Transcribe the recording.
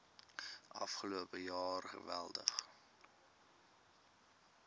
afgelope jaar geweldig